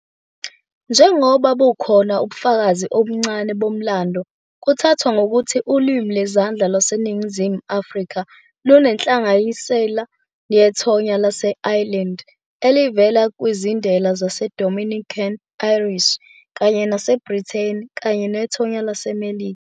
"Njengoba bukhona ubufakazi obuncane bomlando, kuthathwa ngokuthi uLimi Lwezandla LwaseNingizimu Afrika lunenhlanganisela yethonya lase-Ireland elivela kwizindela zaseDominican Irish, kanye naseBrithani kanye nethonya laseMelika."